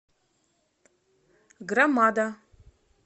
громада